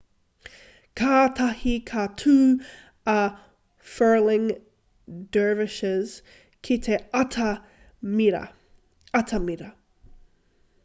kātahi ka tū a whirling dervishes ki te atamira